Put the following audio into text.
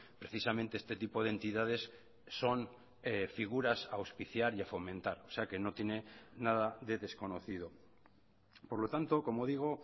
precisamente este tipo de entidades son figuras a auspiciar y a fomentar o sea que no tiene nada de desconocido por lo tanto como digo